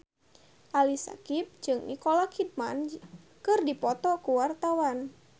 Ali Syakieb jeung Nicole Kidman keur dipoto ku wartawan